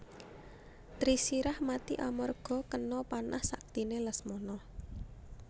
Trisirah mati amarga kena panah saktiné Lesmana